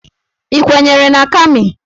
Ị kwenyere na Kami?